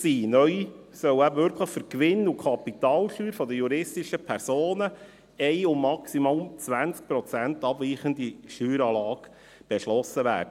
Neu soll eben wirklich für die Gewinn- und Kapitalsteuer der juristischen Personen eine um maximal 20 Prozent abweichende Steueranlage beschlossen werden.